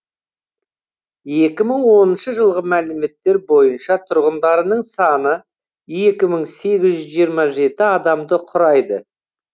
екі мың оныншы жылғы мәліметтер бойынша тұрғындарының саны екі мың сегіз жүз жиырма жеті адамды құрайды